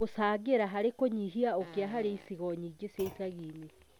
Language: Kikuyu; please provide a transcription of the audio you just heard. gũcangĩra harĩ kũnyihia ũkĩa harĩ icigo nyingĩ cia icagi-inĩ